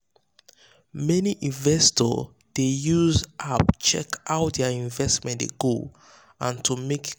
many investors um dey um use app check how their investment dey go and to make